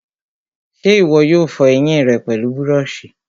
ṣé ìwọ yóò fọ ẹyìn rẹ pẹlú búrọ̀sì?